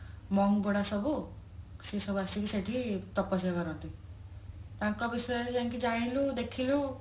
monk ଗୁଡା ସବୁ ସିଏ ସବୁ ଆସିକି ସେଠି ତପସ୍ୟା କରନ୍ତି ତାଙ୍କ ବିଷୟରେ ଯାଇକି ଜାଣିଲୁ ଦେଖିଲୁ